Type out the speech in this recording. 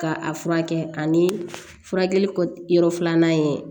Ka a furakɛ ani furakɛli kɔ yɔrɔ filanan ye